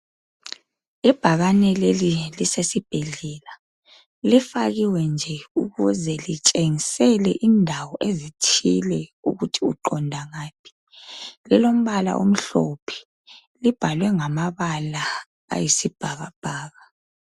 Ibhakane leli ngelisesibhedlela. Lifakiwe nje ukuze kitshengisele indawo ezithile ukuthi uqonda ngaphi. Lilombala omhlophe libhalwe ngamabala ayisibhakabhaka.